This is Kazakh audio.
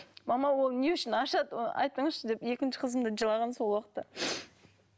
мама ол не үшін ашады айтыңызшы деп екінші қызым да жылаған сол уақытта